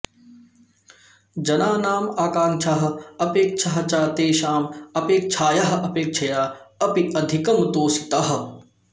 जनानाम् आकांक्षाः अपेक्षाः च तेषाम् अपेक्षायाः अपेक्षया अपि अधिकं तोषिताः